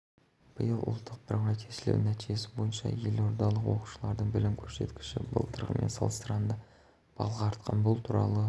биыл ұлттық бірыңғай тестілеу нәтижесі бойынша елордалық оқушылардың білім көрсеткіші былтырғымен салыстырғанда балға артқан бұл туралы